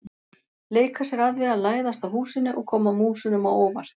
Leika sér að því að læðast að húsinu og koma músunum á óvart.